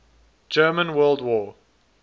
german world war